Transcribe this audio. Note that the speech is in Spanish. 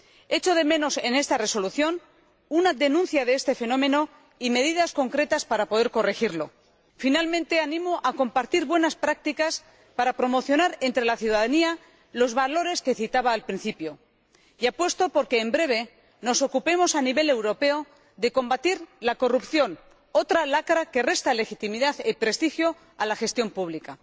Echo de menos en esta Resolución una denuncia de este fenómeno y medidas concretas para poder corregirlo. Finalmente, animo a compartir buenas prácticas para promocionar entre la ciudadanía los valores que citaba al principio, y apuesto por que en breve nos ocupemos a nivel europeo de combatir la corrupción, otra lacra que resta legitimidad y prestigio a la gestión pública.